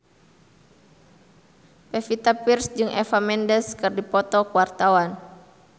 Pevita Pearce jeung Eva Mendes keur dipoto ku wartawan